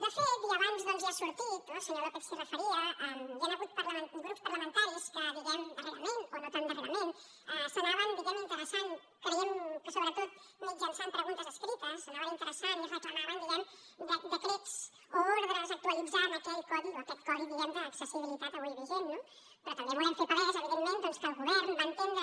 de fet i abans ja ha sortit no el senyor lópez s’hi referia hi han hagut grups parlamentaris que darrerament o no tan darrerament s’hi anaven interessant creiem que sobretot mitjançant preguntes escrites s’hi anaven interessant i reclamaven decrets o ordres que actualitzessin aquest codi d’accessibilitat avui vigent no però també volem fer palès evidentment doncs que el govern va entendre